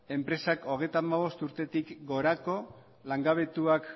enpresak hogeita hamabost urtetik gorako langabetuak